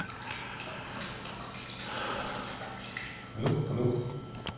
плюх плюх